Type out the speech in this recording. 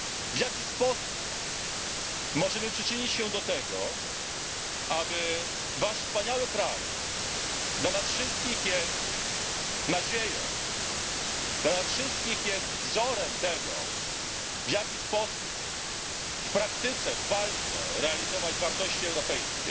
W jaki sposób możemy przyczynić się do tego, aby pomóc Waszemu wspaniałemu krajowi, który dzisiaj dla nas wszystkich jest nadzieją, dla nas wszystkich jest wzorem tego, w jaki sposób w praktyce, w walce realizować wartości europejskie.